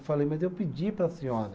Eu falei, mas eu pedi para a senhora.